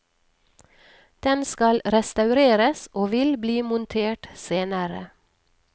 Den skal restaureres og vil bli montert senere.